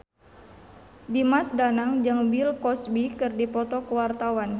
Dimas Danang jeung Bill Cosby keur dipoto ku wartawan